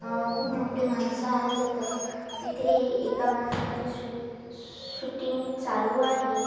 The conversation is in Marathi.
खूप मोठी माणसं आहेत तिथे एका माणसाची शु शुटटींग चालू आहे.